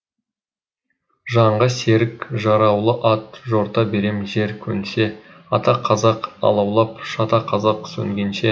жанға серік жараулы ат жорта берем жер көнсе ата қазақ алаулап шата қазақ сөнгенше